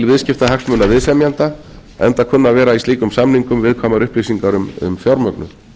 viðskiptahagsmuna viðsemjenda enda kunna að vera í slíkum samningum viðkvæmar upplýsingar um fjármögnun